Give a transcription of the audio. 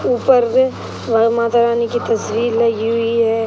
ऊपर वह माता रानी की तस्वीर लगी हुई है |